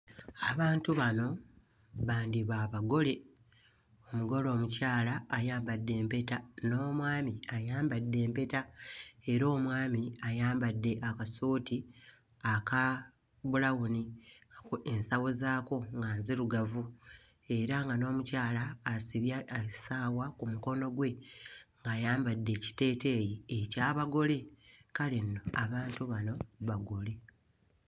Abantu bano bandiba abagole, omugole omukyala ayambadde empeta, n'omwami ayambadde empeta era omwami ayambadde akasuuti aka bbulawuni, aku ensawo zaako nga nzirugavu era nga n'omukyala asibye essaawa ku mukono gwe ng'ayambadde ekiteeteeyi eky'abagole, kale nno abantu bano bagole.